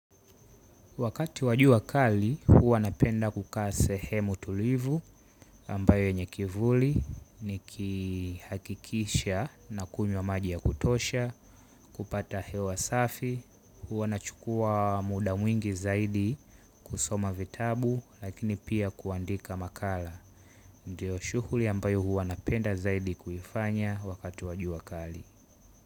Wakati wajua kali, huwa napenda kukaa sehemu tulivu ambayo yenye kivuli ni kihakikisha na kunywa maji ya kutosha, kupata hewa safi, huwa nachukua muda mwingi zaidi kusoma vitabu lakini pia kuandika makala. Ndiyo shuhuli ambayo huwa napenda zaidi kufanya wakati wajua kali.